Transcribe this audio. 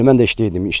Elə mən də işdəydim.